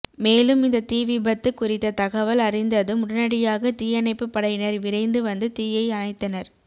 மேலும் இந்த தீவிபத்து குறித்த தகவல் அறிந்ததும் உடனடியாக தீயணைப்பு படையினர் விரைந்து வந்து தீயை அணைத்தனர்